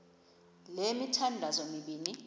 le mithandazo mibini